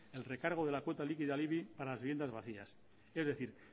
el recargo de la cuota líquida al ibi para las viviendas vacías es decir